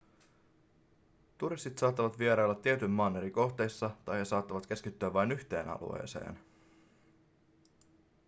turistit saattavat vierailla tietyn maan eri kohteissa tai he saattavat keskittyä vain yhteen alueeseen